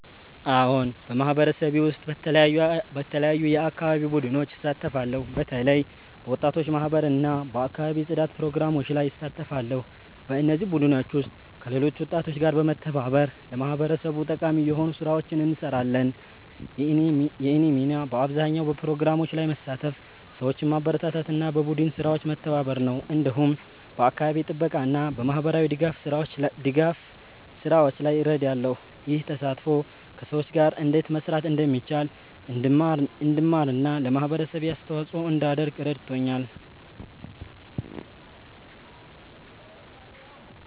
አዎን፣ በማህበረሰቤ ውስጥ በተለያዩ የአካባቢ ቡድኖች እሳተፋለሁ። በተለይ በወጣቶች ማህበር እና በአካባቢ ጽዳት ፕሮግራሞች ላይ እሳተፋለሁ። በእነዚህ ቡድኖች ውስጥ ከሌሎች ወጣቶች ጋር በመተባበር ለማህበረሰቡ ጠቃሚ የሆኑ ስራዎችን እንሰራለን። የእኔ ሚና በአብዛኛው በፕሮግራሞች ላይ መሳተፍ፣ ሰዎችን ማበረታታት እና በቡድን ስራዎች መተባበር ነው። እንዲሁም በአካባቢ ጥበቃ እና በማህበራዊ ድጋፍ ስራዎች ላይ እረዳለሁ። ይህ ተሳትፎ ከሰዎች ጋር እንዴት መስራት እንደሚቻል እንድማር እና ለማህበረሰቤ አስተዋጽኦ እንዳደርግ ረድቶኛል።